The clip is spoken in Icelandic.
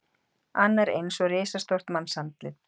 Annar eins og risastórt mannsandlit.